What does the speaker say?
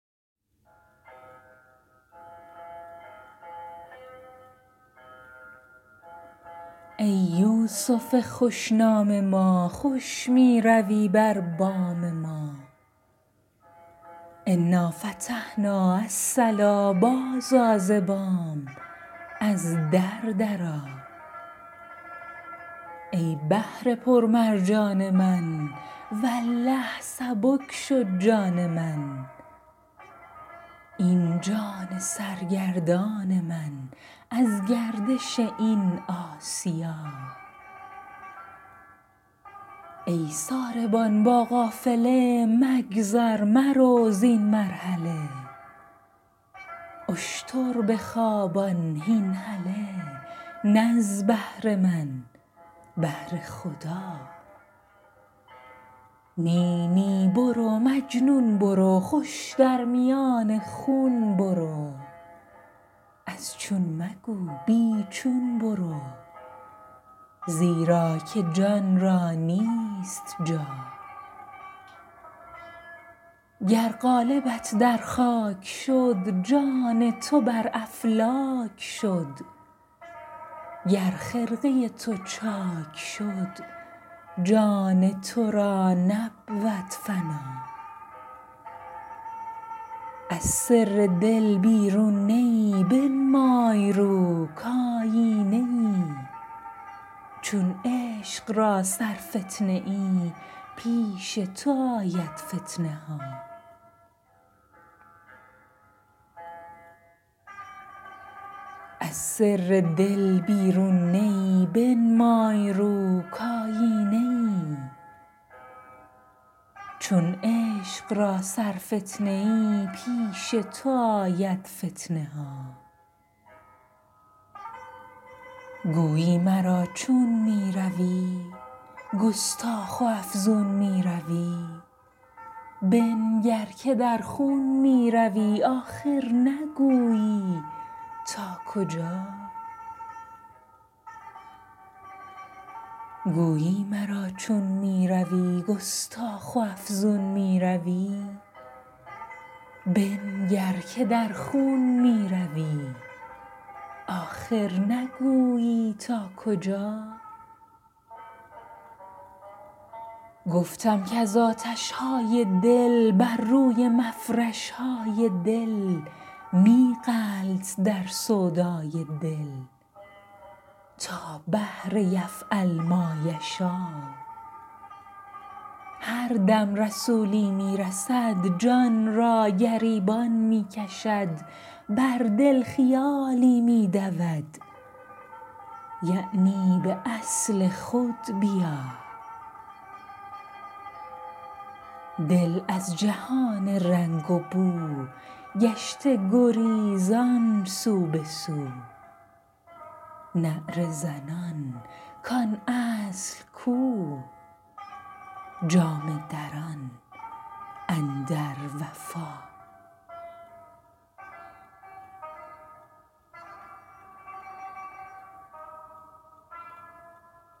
ای یوسف خوش نام ما خوش می روی بر بام ما انا فتحنا الصلا بازآ ز بام از در درآ ای بحر پرمرجان من والله سبک شد جان من این جان سرگردان من از گردش این آسیا ای ساربان با قافله مگذر مرو زین مرحله اشتر بخوابان هین هله نه از بهر من بهر خدا نی نی برو مجنون برو خوش در میان خون برو از چون مگو بی چون برو زیرا که جان را نیست جا گر قالبت در خاک شد جان تو بر افلاک شد گر خرقه تو چاک شد جان تو را نبود فنا از سر دل بیرون نه ای بنمای رو کایینه ای چون عشق را سرفتنه ای پیش تو آید فتنه ها گویی مرا چون می روی گستاخ و افزون می روی بنگر که در خون می روی آخر نگویی تا کجا گفتم کز آتش های دل بر روی مفرش های دل می غلط در سودای دل تا بحر یفعل ما یشا هر دم رسولی می رسد جان را گریبان می کشد بر دل خیالی می دود یعنی به اصل خود بیا دل از جهان رنگ و بو گشته گریزان سو به سو نعره زنان کان اصل کو جامه دران اندر وفا